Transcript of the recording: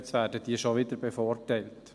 «Jetzt werden die schon wieder bevorteilt.